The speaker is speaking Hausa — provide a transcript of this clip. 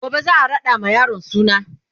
gobe zaa raɗa ma yaron suna